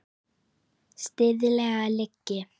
Siðleg lygi.